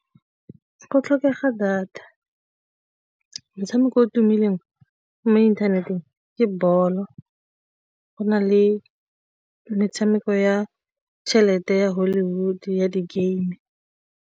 Go tlhokega data. Motshameko o tumileng mo inthaneteng ke bolo, go na le metshameko ya tšhelete ya Hollywood ya di-game.